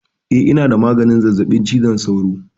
Eh ina da maganin zazzaɓin cizon sauro